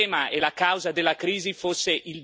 No, non è il debito pubblico